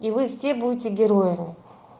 и вы все будете героями